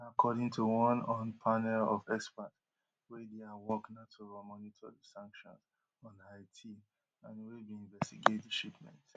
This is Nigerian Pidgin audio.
dis na according to one un panel of experts wey dia work na to monitor di sanctions on haiti and wey bin investigate di shipment